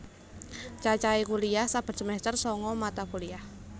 Cacahe kuliyah saben semester sanga mata kuliah